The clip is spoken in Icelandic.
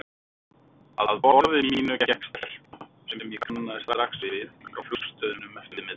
Að borði mínu gekk stelpa sem ég kannaðist strax við frá flugstöðinni um eftirmiðdaginn.